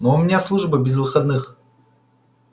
у меня служба без выходных